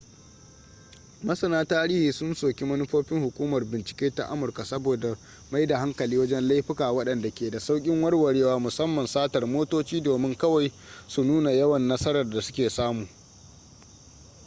masana tarihi sun soki manufofin hukumar bincike ta amurka saboda mai da hankali wajen laifuka wadanda ke da saukin warwarewa musamman satar motoci domin kawai su nuna yawan nasarar da su ke samu